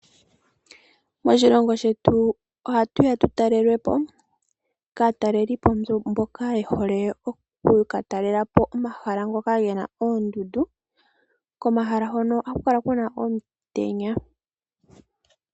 Moshilongo shetu ohatuya tu talelwepo kaatalelipo mboka ye hole okuka talelapo omahala ngoka gena oondundu komahala ngono ohaku kala kuna omutenya.